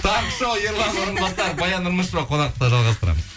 таңғы шоу ерлан орынбасаров баян нұрмышева қонақта жалғастырамыз